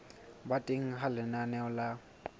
ba teng ha lenaneo la